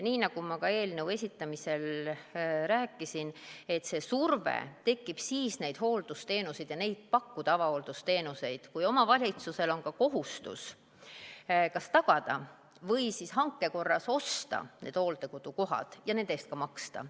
Nii nagu ma ka eelnõu esitamisel rääkisin, surve neid hooldusteenuseid ja neid avahooldusteenuseid pakkuda tekib siis, kui omavalitsusel on kohustus kas tagada või hanke korras osta need hooldekodukohad ja nende eest ka maksta.